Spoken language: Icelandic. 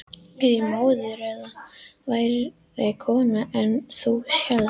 Er ég móðir eða verri kona en þú hélst?